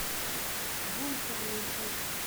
бункер найти